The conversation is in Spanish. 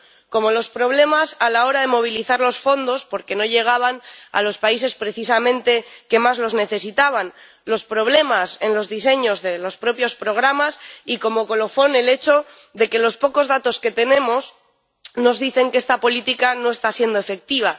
Como los problemas a la hora de movilizar los fondos, porque no llegaban a los países precisamente que más los necesitaban, los problemas en los diseños de los propios programas y, como colofón, el hecho de que los pocos datos que tenemos nos dicen que esta política no está siendo efectiva.